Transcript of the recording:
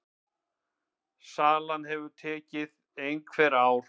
Salan geti tekið einhver ár.